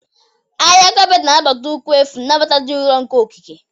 Ahịhịa kapeeti na-anabata ụkwụ efu, nnabata dị nro nke okike.